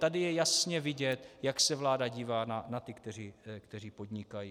Tady je jasně vidět, jak se vláda dívá na ty, kteří podnikají.